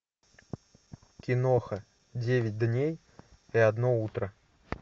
киноха девять дней и одно утро